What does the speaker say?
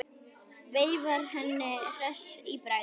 Veifar henni hress í bragði.